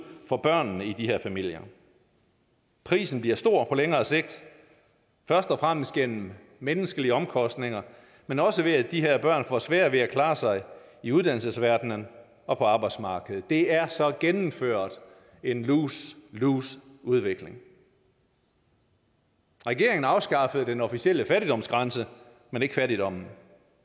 for børnene i de her familier prisen bliver stor på længere sigt først og fremmest gennem menneskelige omkostninger men også ved at de her børn får sværere ved at klare sig i uddannelsesverdenen og på arbejdsmarkedet det er så gennemført en lose lose udvikling regeringen afskaffede den officielle fattigdomsgrænse men ikke fattigdommen